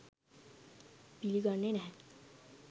පිළිගන්නේ නැහැ